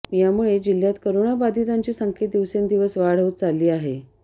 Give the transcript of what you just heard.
यामुळे जिल्ह्यात कोरोणा बाधीतांची संख्येत दिवसेंदिवस वाढ होत चालली आहे